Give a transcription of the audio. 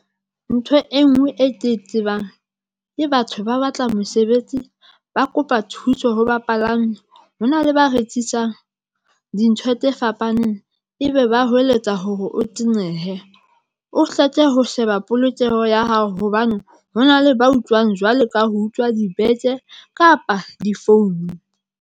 Ntho e nngwe e ke e tsebang ke batho ba batla mosebetsi, ba kopa thuso ho bapalami hona le ba rekisang dintho tse fapaneng ebe ba hweletsa hore o tenehe, o hleke ho sheba polokeho ya hao hobane hona le ba utlwang jwalo ka ho utlwa dibeke kapa difounu.